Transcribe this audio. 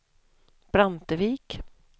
Brantevik